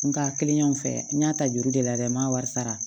Nga kelen y'an fɛ n y'a ta juru de la dɛ n m'a wari sara